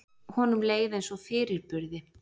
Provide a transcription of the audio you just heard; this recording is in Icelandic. Honum leið eins og fyrirburði.